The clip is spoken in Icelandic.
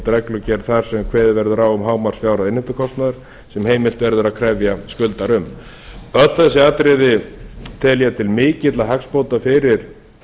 reglugerð þar sem kveðið verður á um hámarksfjárhæð innheimtukostnaðar sem heimilt verður að krefja skuldara um öll þessi atriði tel ég til mikilla hagsbóta fyrir